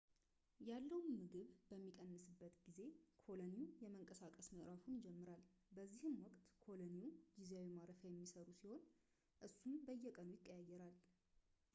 ያለው ምግብ በሚቀንስበት ጊዜ ኮሎኒው የመንቀሳቀስ ምዕራፉን ይጀምራል በዚህ ወቅት ኮሎኒው ጊዜያዊ ማረፊያ የሚሰሩ ሲሆን እሱም በየቀኑ ይቀያየራል